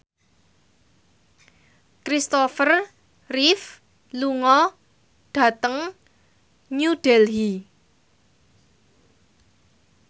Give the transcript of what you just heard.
Christopher Reeve lunga dhateng New Delhi